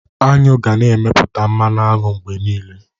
Aṅụ ga-na emepụta mmanụ aṅụ mgbe niile.